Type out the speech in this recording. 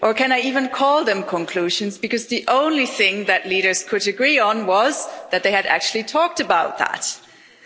Or can I even call them conclusions, because the only thing that leaders could agree on was that they had actually talked about climate.